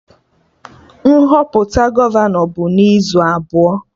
Nhọpụta gọvanọ bụ n'izu abụọ